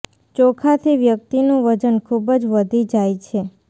ચોખાથી વ્યક્તિનું વજન ખુબ જ વધી જાય છે